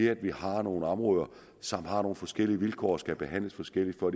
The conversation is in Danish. at vi har nogle områder som har nogle forskellige vilkår og skal behandles forskelligt for